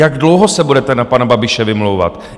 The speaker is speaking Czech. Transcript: Jak dlouho se budete na pana Babiše vymlouvat?